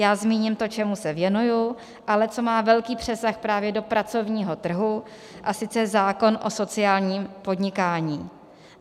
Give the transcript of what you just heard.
Já zmíním to, čemu se věnuji, ale co má velký přesah právě do pracovního trhu, a sice zákon o sociálním podnikání.